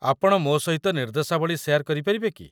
ଆପଣ ମୋ ସହିତ ନିର୍ଦ୍ଦେଶାବଳୀ ଶେୟାର୍ କରିପାରିବେ କି?